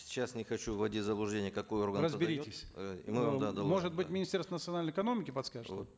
сейчас не хочу вводить в заблуждение какой орган разберитесь э может быть министерство национальной экономики подскажет вот